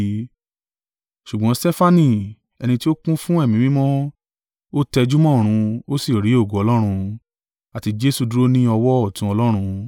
Ṣùgbọ́n Stefanu, ẹni tí ó kún fún Ẹ̀mí Mímọ́, ó tẹjúmọ́ ọ̀run, ó sì rí ògo Ọlọ́run, àti Jesu dúró ní ọwọ́ ọ̀tún Ọlọ́run.